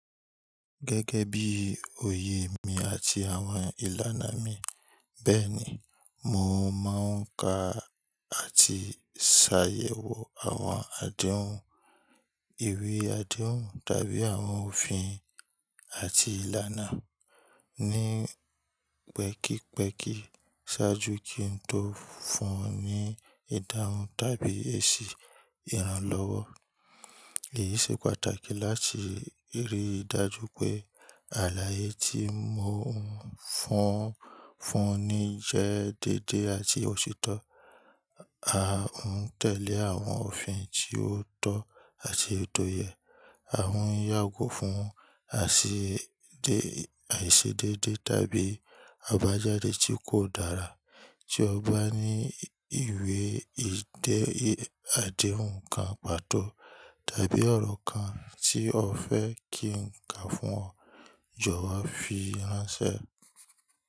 Gẹ́gẹ́ bí oyè mi àti àwọn ìlànà mi, bẹ́ẹ̀ni, mò ń máa ń ka àti ṣàyẹ̀wò àwọn àdéhùn, ìwé àdéhùn tàbí àwọn òfin àti ìlànà ní pẹ́kípẹ́kí ṣáájú kí n tó fún ọ ní ìdáhùn tàbí èsì ìrànlọ́wọ́. Èyí ṣe pàtàkì láti rí i dájú pé àlàyé tí mò ń fún ọ fún ọ ní jẹ́ déédé àti òtítọ́. A ń tẹ̀lé àwọn òfin tí ó tọ́ àti èyi tò yẹ. A ń yàgò fún àìṣedédé tàbí àbájáde tí kò dára. Tí o bá ní ìwé àdéhùn kan pàtó tàbí ọ̀rọ̀ kan tí o fẹ́ kí n ka fún ọ, jọwọ́ fi ránṣẹ́.